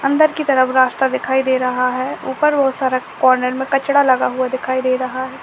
अंदर की तरफ रास्ता दिखाई दे रहा है ऊपर बहुत सारा कॉर्नर में कचरा लगा हुआ दिखाई दे रहा है।